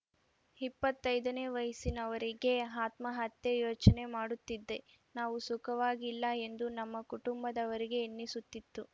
ಇಪ್ಪತ್ತೈದನೇ ವಯಸ್ಸಿನವರೆಗೆ ಆತ್ಮಹತ್ಯೆಯ ಯೋಚನೆ ಮಾಡುತ್ತಿದ್ದೆ ನಾವು ಸುಖವಾಗಿಲ್ಲ ಎಂದು ನಮ್ಮ ಕುಟುಂಬದವರಿಗೆ ಎನ್ನಿಸುತ್ತಿತ್ತು